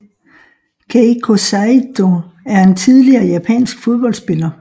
Keiko Saito er en tidligere japansk fodboldspiller